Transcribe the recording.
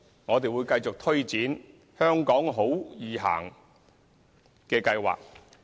我們會繼續推展"香港好.易行"計劃。